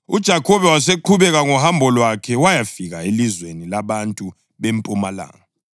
UJakhobe waseqhubeka ngohambo lwakhe wayafika elizweni labantu bempumalanga.